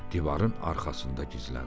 Divarın arxasında gizləndi.